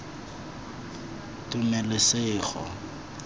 tumelesego